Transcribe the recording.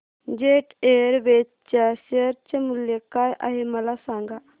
jet Airways च्या share चे मूल्य काय आहे मला सांगा